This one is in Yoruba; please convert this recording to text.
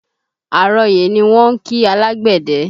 Àrọyè ni wọ́n ń kí alágbẹ̀dẹ